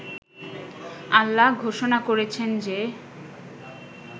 আল্লাহ ঘোষণা করেছেন যে